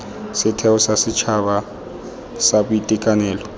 setheo sa setšhaba sa boitekanelo